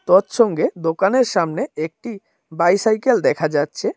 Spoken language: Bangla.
সৎসঙ্গে দোকানের সামনে একটি বাইসাইকেল দেখা যাচ্ছে।